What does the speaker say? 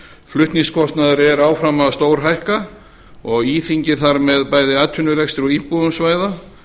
flutningskostnaður er áfram að stórhækka og íþyngir þar með bæði atvinnurekstri og íbúum svæða